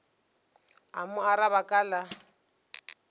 a mo araba ka la